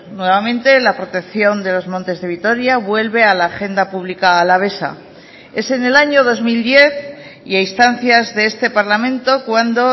nuevamente la protección de los montes de vitoria vuelve a la agenda pública alavesa es en el año dos mil diez y a instancias de este parlamento cuando